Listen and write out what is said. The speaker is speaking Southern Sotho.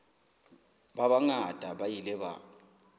ba bangata ba ile ba